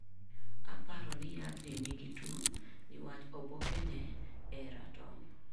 Aparo ni yadhni nigi tuo niwach obokke ne ee ratong'.